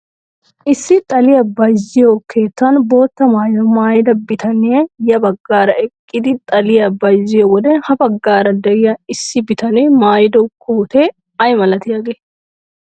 Issi xaliyaa bayzziyo keettan bootta maayuwaa maayida bitanee ya baggaara eqqidi xaliyaa bayzziyo wode ha baggaara de'iyaa issi bitanee maayido kootee ay milatiyaagee?